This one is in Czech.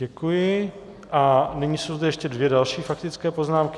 Děkuji a nyní jsou zde ještě dvě další faktické poznámky.